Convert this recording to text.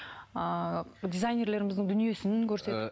ыыы дизайнерлеріміздің дүниесін көрсетіп